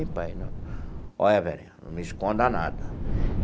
Pai, não. Olha Verinha, não me esconda nada.